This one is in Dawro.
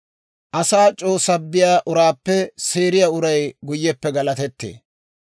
Asaa c'oo sabbiyaa uraappe seeriyaa uray guyyeppe galatettee.